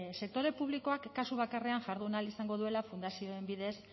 sektore publikoak kasu bakarrean jardun ahal izango duela fundazioaren bidez